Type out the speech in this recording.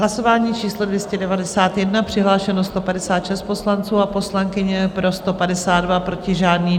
Hlasování číslo 291, přihlášeno 156 poslanců a poslankyň, pro 152, proti žádný.